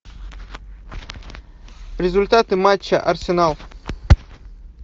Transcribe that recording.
результаты матча арсенал